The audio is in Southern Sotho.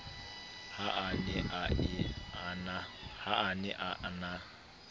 ha a ne a na